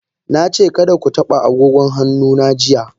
Na ce kada ku taba agogon hannu na jiya.